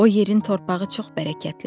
O yerin torpağı çox bərəkətlidir.